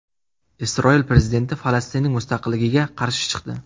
Isroil prezidenti Falastinning mustaqilligiga qarshi chiqdi.